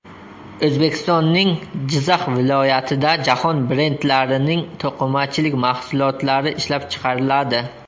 O‘zbekistonning Jizzax viloyatida jahon brendlarining to‘qimachilik mahsulotlari ishlab chiqariladi!